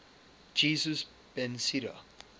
jesus ben sira